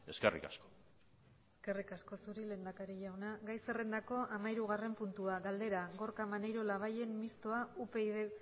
eskerrik asko eskerrik asko zuri lehendakari jauna gai zerrendako hamahirugarren puntua galdera gorka maneiro labayen mistoa upyd